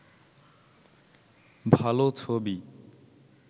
ভাল ছবি